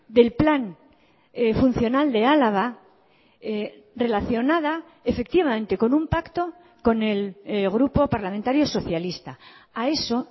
del plan funcional de álava relacionada efectivamente con un pacto con el grupo parlamentario socialista a eso